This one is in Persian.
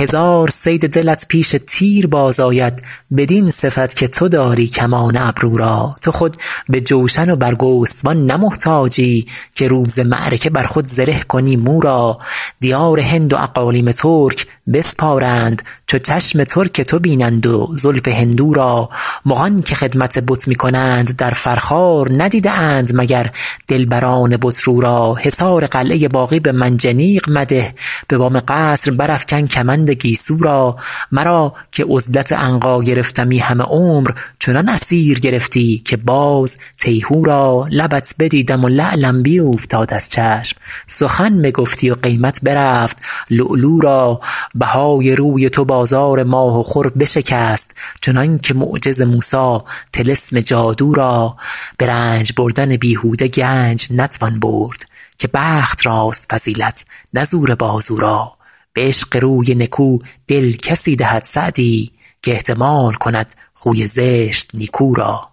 هزار صید دلت پیش تیر باز آید بدین صفت که تو داری کمان ابرو را تو خود به جوشن و برگستوان نه محتاجی که روز معرکه بر خود زره کنی مو را دیار هند و اقالیم ترک بسپارند چو چشم ترک تو بینند و زلف هندو را مغان که خدمت بت می کنند در فرخار ندیده اند مگر دلبران بت رو را حصار قلعه باغی به منجنیق مده به بام قصر برافکن کمند گیسو را مرا که عزلت عنقا گرفتمی همه عمر چنان اسیر گرفتی که باز تیهو را لبت بدیدم و لعلم بیوفتاد از چشم سخن بگفتی و قیمت برفت لؤلؤ را بهای روی تو بازار ماه و خور بشکست چنان که معجز موسی طلسم جادو را به رنج بردن بیهوده گنج نتوان برد که بخت راست فضیلت نه زور بازو را به عشق روی نکو دل کسی دهد سعدی که احتمال کند خوی زشت نیکو را